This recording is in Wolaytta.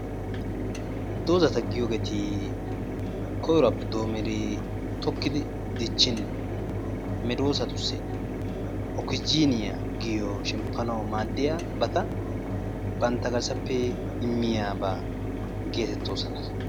Dozata giyogeeti koyruwappe doommidi tokkidi dichchin medoossatussi okisijiiniya giyo shemppanawu maaddiyabata bantta garssappe immiyaba geetettoosona.